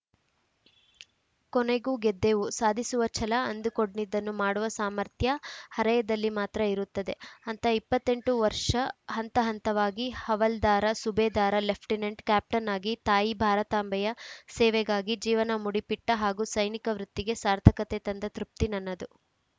ಕೊನೆಗೂ ಗೆದ್ದೆವು ಸಾಧಿಸುವ ಛಲ ಅಂದುಕೊಂಡಿದ್ದನ್ನು ಮಾಡುವ ಸಾಮರ್ಥ್ಯ ಹರೆಯದಲ್ಲಿ ಮಾತ್ರ ಇರುತ್ತದೆ ಅಂಥ ಇಪ್ಪತ್ತ್ ಎಂಟು ವರ್ಷ ಹಂತಹಂತವಾಗಿ ಹವಾಲ್ದಾರ ಸುಬೇದಾರ ಲೆಫ್ಟಿನೆಂಟ್‌ ಕ್ಯಾಪ್ಟನ್‌ ಆಗಿ ತಾಯಿ ಭಾರತಾಂಬೆಯ ಸೇವೆಗಾಗಿ ಜೀವನ ಮುಡುಪಿಟ್ಟಹಾಗೂ ಸೈನಿಕ ವೃತ್ತಿಗೆ ಸಾರ್ಥಕತೆ ತಂದ ತೃಪ್ತಿ ನನ್ನದು